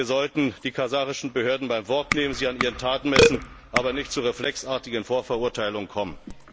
Wir sollten die kasachischen Behörden beim Wort nehmen und sie an ihren Taten messen, aber nicht zu reflexartigen Vorverurteilungen kommen.